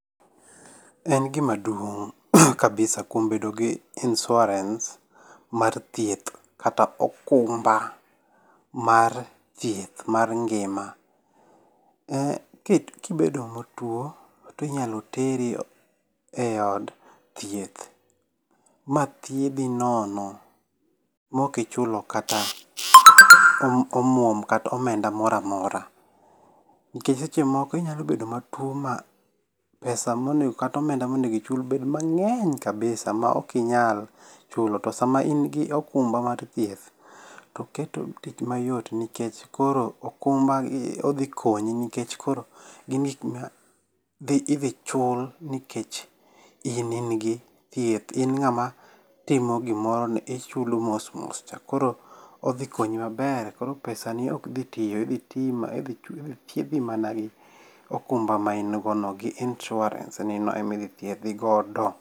En gima duong' kabisa kuom bedo gi insurance mar thieth kata okumba mar thieth mar ngima. Kibedo matuo to inyalo teri eod thieth ma thiedhi nono maok ichulo kata omuom kata omenda moro amora. Nikech seche moko inyalo bedo matuo ma pesa monego ichul kata omenda bed mang'eny kabisa sama ok inyal chulo. To sama in gi okumba mar thieth to keto tich mayot nikech koro okumba odhi konyi nikech koro idhi chul nikech in in gi thieth, in ng'ama timo gimoro ni ichulo mos mos cha koro odhi konyi maber. Koro pesani ok dhi tiyo. Idhi thiedhi mana gi okumba ma in go no, insurance nino ema idhi thiedhi godo.